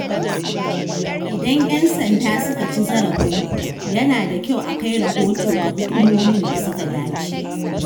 Idan ‘yan sanda suka ci zarafinku, yana da kyau a kai rahoto ga hukumomin da suka dace.